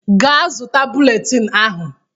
Ga zụta bụletini ahụ!